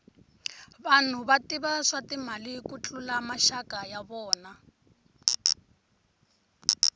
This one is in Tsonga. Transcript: vanhu va tiva swa timali ku tlula maxaka ya vona